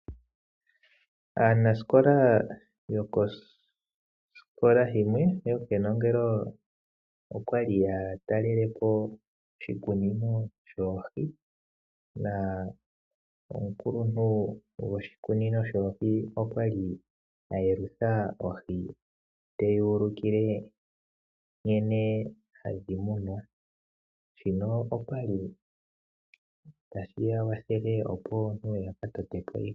Aanasikola yokosikola yimwe yokenongelo okwali ya talele po oshikunino shoohi. Omukuluntu goshikunino shoohi okwa li ayelutha ohi, te ya ulukile nkene oohi hadhi munwa. Shino otashi ya kwathele opo ya ka tote iikunino yawo.